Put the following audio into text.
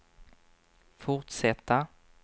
fortsätta